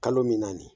Kalo min na nin